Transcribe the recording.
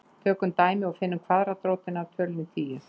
Tökum dæmi og finnum kvaðratrótina af tölunni tíu.